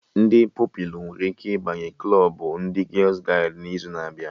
Ndị Pupilụ nwere ike ịbanye klọbụ ndị gials-gaịdị n'izu na-abịa